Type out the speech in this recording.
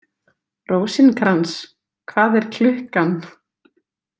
Rósinkrans, hvað er klukkan?